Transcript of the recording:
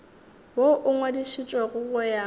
woo o ngwadišitšwego go ya